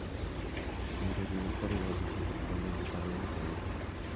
Nedochin asikarik kap ripset ab kondoidet ab emet 1.